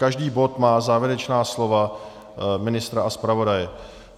Každý bod má závěrečná slova ministra a zpravodaje.